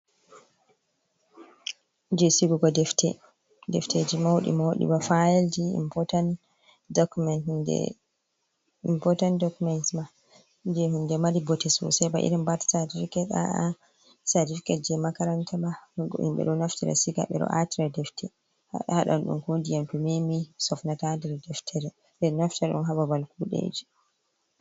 Je sigugo defte, defteji mauɗi mauɗi ba fayelji impotant dokuments ma je hinde mari bote sosai ba irin birth certificate. A'a cartificate je makaranta ma ko himɓe ɗo naftira siga ɓeɗo ata defte hadan ɗum ko ndiyam to memi sofnata nder deftere ɓeɗo Naftira ɗum ha babal kuɗeji.